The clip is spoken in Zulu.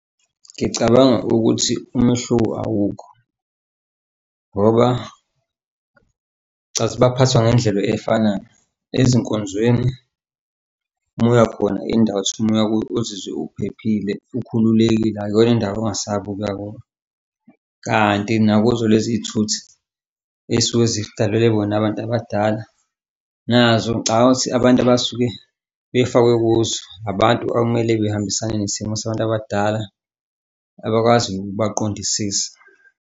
Ngicabanga ukuthi umehluko awukho ngoba ngicathi baphathwa ngendlela efanayo ezinkonzweni moya khona indawo othi uma uya kuyo ozizwa uphephile, ukhululekile, akuyona indawo ongasaba ukuya kuyo. Kanti nakuzo lezi iy'thuthi ey'suke zidalelwe bona abantu abadala nazo ngcabanga ukuthi abantu abasuke befakwe kuzo, abantu okumele behambisane nesimo sabantu abadala abakwaziyo ukubaqondisisa.